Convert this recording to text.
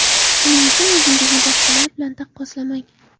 Shuning uchun o‘zingizni boshqalar bilan taqqoslamang.